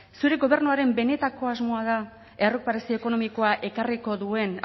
zure gobernuaren benetako asmoa da errekuperazio ekonomikoa ekarriko duen